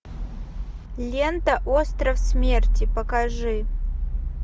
лента остров смерти покажи